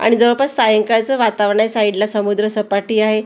आणि जवळपास सायंकाळचं वातावरण आहे साईडला समुद्रसपाटी आहे आणि सगळ्या--